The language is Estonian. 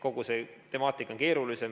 Kogu see temaatika on keerulisem.